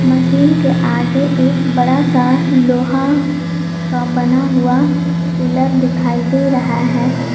Machine के आगे एक बड़ा सा लोहा का बना हुआ पिलर दिखाई दे रहा है।